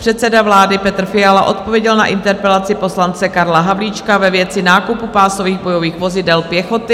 Předseda vlády Petr Fiala odpověděl na interpelaci poslance Karla Havlíčka ve věci nákupu pásových bojových vozidel pěchoty.